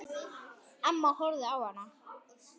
Amma horfði á hana.